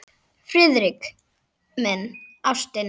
Friðrik minn, ástin.